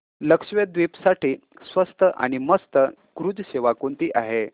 लक्षद्वीप साठी स्वस्त आणि मस्त क्रुझ सेवा कोणती आहे